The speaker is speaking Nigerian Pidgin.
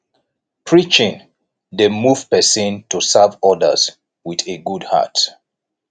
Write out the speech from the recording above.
preaching dey move pesin to serve odas wit a good heart